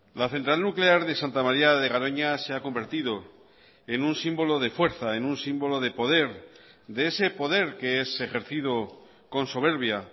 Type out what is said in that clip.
la central nuclear de santa maría de garoña se ha convertido en un símbolo de fuerza en un símbolo de poder de ese poder que es ejercido con soberbia